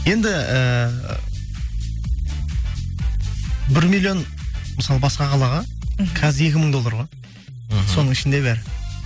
енді ііі бір миллион мысалы басқа қалаға мхм қазір екі мың доллар ғой мхм соның ішінде бәрі